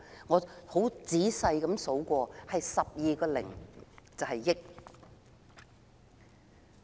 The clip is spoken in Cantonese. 我很仔細地數過 ，8 個零就是"億"。